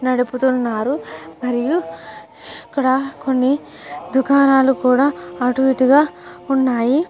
నడుపుతున్నారు మరియు ఇక్కడ కొన్ని దుకనల్లు కూడా అటు ఇటుగా ఉన్నాయి.